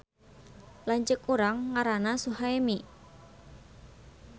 Lanceuk urang ngaranna Suhaemi